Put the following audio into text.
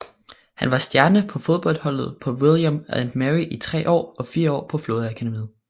Han var stjerne på fodboldholdet på William and Mary i tre år og fire år på flådeakademiet